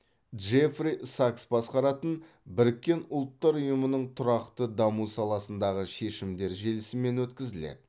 джефри сакс басқаратын біріккен ұлттар ұйымының тұрақты даму саласындағы шешімдер желісімен өткізіледі